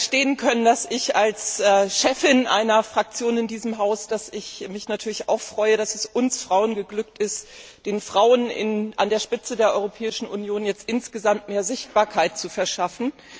Sie werden verstehen können, dass ich mich als Chefin einer Fraktion in diesem Haus natürlich auch freue, dass es uns Frauen geglückt ist, den Frauen an der Spitze der Europäischen Union jetzt insgesamt mehr Sichtbarkeit zu verschaffen.